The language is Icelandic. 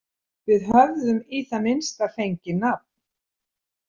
Við höfðum í það minnsta fengið nafn.